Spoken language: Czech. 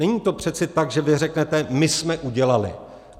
Není to přece tak, že vy řeknete: my jsme udělali.